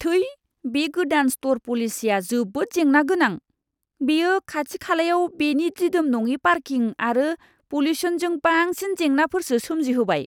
थै! बे गोदान स्ट'र पलिसिया जोबोद जेंना गोनां। बेयो खाथि खालायाव बेनि दिदोम नङि पार्किं आरो पल्युसनजों बांसिन जेंनाफोरसो सोमजिहोबाय!